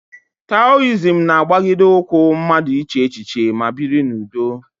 Taoism na-agbagide ụkwụ mmadụ ịche echiche ma biri n'udo.